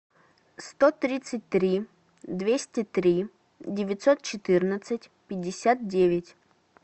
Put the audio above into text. сто тридцать три двести три девятьсот четырнадцать пятьдесят девять